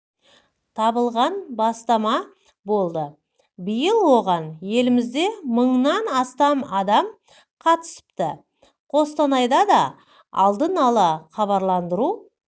табылған бастама болды биыл оған елімізде мыңнан астам адам қатысыпты қостанайда да алдын ала хабарландыру